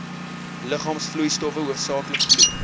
liggaamsvloeistowwe hoofsaaklik bloed